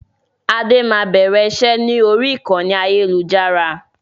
Adé máa bẹ̀rẹ̀ iṣẹ́ ni orí ìkànnì ayélujára